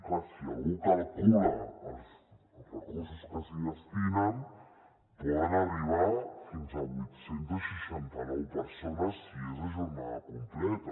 clar si algú calcula els recursos que s’hi destinen poden arribar fins a vuit cents i seixanta nou persones si és a jornada completa